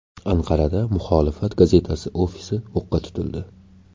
Anqarada muxolifat gazetasi ofisi o‘qqa tutildi.